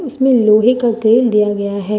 इसमें लोहे का ग्रिल दिया गया है।